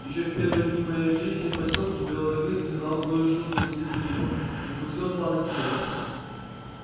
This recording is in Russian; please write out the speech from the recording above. ещё в первые дни моей жизни в посёлке белый клык сыграл злую шутку с лип липом и вкусил сладость мести